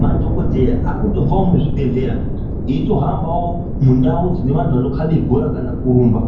Madhokodheya aakutobvawo muzvi bhedhlera eitohambawo mundawu dzine vantu anokabe bhora kana kurumba